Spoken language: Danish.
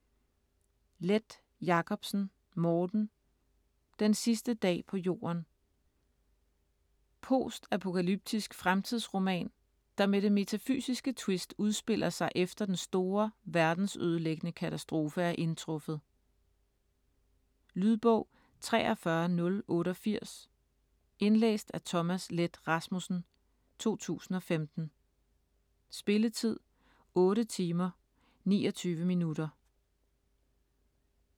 Leth Jacobsen, Morten: Den sidste dag på jorden Post-apokalyptisk fremtidsroman, der med det metafysiske twist udspiller sig efter den store verdensødelæggende katastrofe er indtruffet. Lydbog 43088 Indlæst af Thomas Leth Rasmussen, 2015. Spilletid: 8 timer, 29 minutter.